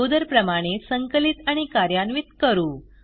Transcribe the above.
अगोदर प्रमाणे संकलित आणि कार्यान्वित करू